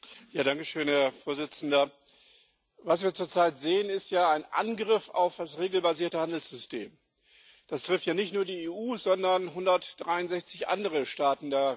Herr Präsident! Was wir zurzeit sehen, ist ein Angriff auf das regelbasierte Handelssystem. Das trifft ja nicht nur die EU, sondern auch 163 andere Staaten der Welthandelsorganisation.